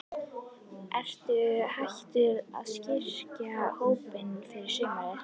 Ertu hættur að styrkja hópinn fyrir sumarið?